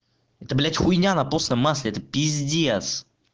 это блядь хуйня на постном масле это пиздец